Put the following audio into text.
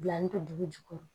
Bila an bɛ to dugu jukɔrɔ